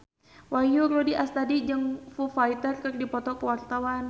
Wahyu Rudi Astadi jeung Foo Fighter keur dipoto ku wartawan